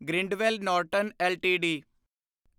Grindwell Norton LTD